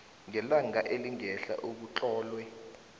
ngelanga elingehla ekutlolwe